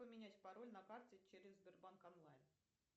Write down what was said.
поменять пароль на карте через сбербанк онлайн